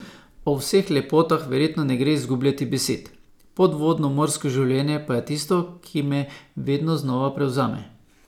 O vseh lepotah verjetno ne gre izgubljati besed, podvodno morsko življenje pa je tisto, ki me vedno znova prevzame.